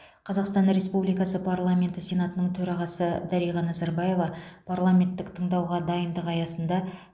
қазақстан республикасы парламенті сенатының төрағасы дариға назарбаева парламенттік тыңдауға дайындық аясында